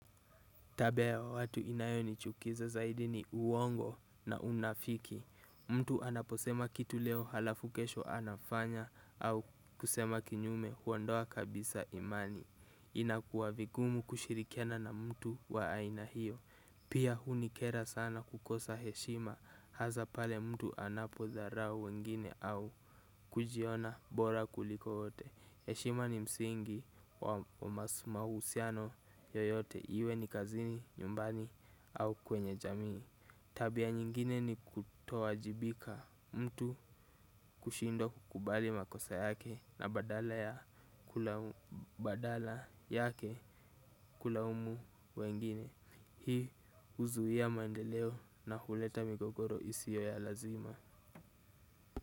Tabia ya watu inayonichukiza zaidi ni uongo na unafiki. Mtu anaposema kitu leo alafu kesho anafanya au kusema kinyume huondoa kabisa imani. Inakuwa vingumu kushirikiana na mtu wa aina hio. Pia hunikera sana kukosa heshima, hasa pale mtu anapodharau wengine au kujiona bora kuliko wote. Heshima ni msingi wa mahusiano yoyote iwe ni kazini, nyumbani au kwenye jamii. Tabia nyingine ni kutowajibika mtu kushindwa kukubali makosa yake na badala yake kulaumu wengine. Hii huzuia maendeleo na huleta migogoro isio ya lazima.